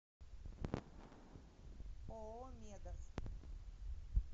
ооо медас